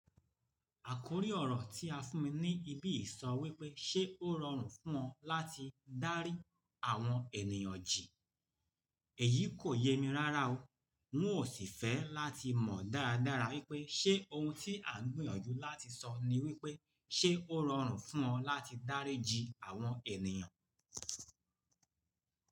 Àkórí ọ̀rọ̀ tí a fún mi ní ibí yìí sọ wípé ṣe ó rọrùn fún ọ láti dárí àwọn ènìyàn jì. Èyí kò yé mi rárá o. N ò sì fẹ́ láti mọ dáradára wípé ṣe ohun tí à ń gbìyànjú láti sọ ni wípé ṣe ó rọrùn fún ọ láti dárí jì àwọn ènìyàn.